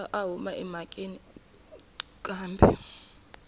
pfa a huma emhakeni kambe